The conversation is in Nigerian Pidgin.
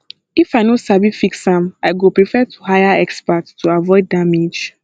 if i no sabi fix am i go prefer to hire expert to avoid damage